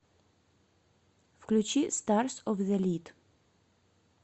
включи старс оф зэ лид